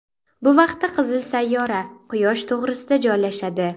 Bu vaqtda qizil sayyora Quyosh to‘g‘risida joylashadi.